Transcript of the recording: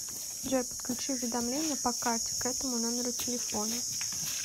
джой подключи уведомления по карте к этому номеру телефона